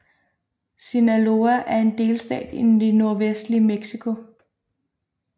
Sinaloa er en delstat i det nordvestlige Mexico